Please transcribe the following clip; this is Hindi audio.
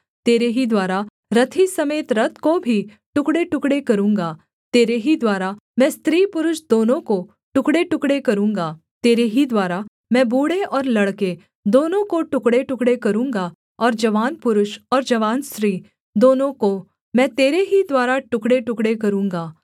तेरे ही द्वारा रथी समेत रथ को भी टुकड़ेटुकड़े करूँगा तेरे ही द्वारा मैं स्त्री पुरुष दोनों को टुकड़ेटुकड़े करूँगा तेरे ही द्वारा मैं बूढ़े और लड़के दोनों को टुकड़ेटुकड़े करूँगा और जवान पुरुष और जवान स्त्री दोनों को मैं तेरे ही द्वारा टुकड़ेटुकड़े करूँगा